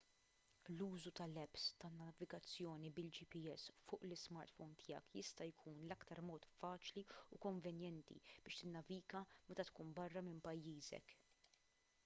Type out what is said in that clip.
l-użu tal-apps tan-navigazzjoni bil-gps fuq l-ismartphome tiegħek jista' jkun l-aktar mod faċli u konvenjenti biex tinnaviga meta tkun barra minn pajjiżek